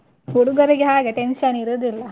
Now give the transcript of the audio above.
ಹುಡುಗರಿಗೆ ಹಾಗೆ tension ಇರುದಿಲ್ಲ.